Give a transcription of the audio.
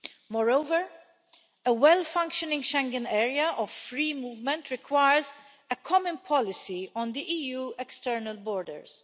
Moreover, a well functioning Schengen area of free movement requires a common policy on the EU external borders.